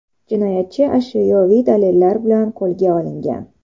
Jinoyatchi ashyoviy dalillar bilan qo‘lga olingan.